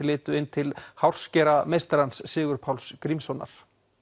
litu inn til hárskerameistarans Sigurpáls Grímssonar